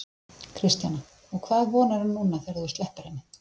Kristjana: Og hvað vonarðu núna þegar þú sleppir henni?